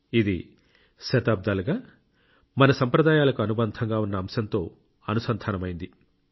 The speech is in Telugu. ఇది శతాబ్దాలుగా మన సంప్రదాయాలకు అనుబంధంగా ఉన్న అంశంతో అనుసంధానమైంది